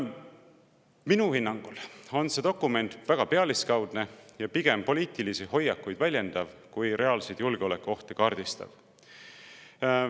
Minu hinnangul on see dokument väga pealiskaudne ja pigem poliitilisi hoiakuid väljendav kui reaalseid julgeolekuohte kaardistav.